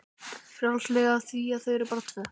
Frjálslegri af því að þau eru bara tvö.